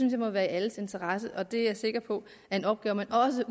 jeg må være i alles interesse og det er jeg sikker på er en opgave man også